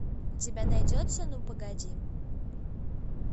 у тебя найдется ну погоди